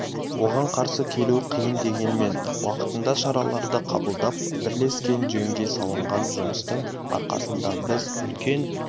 оған қарсы келу қиын дегенмен уақытында шараларды қабылдап бірлескен жөнге салынған жұмыстың арқасында біз үлкен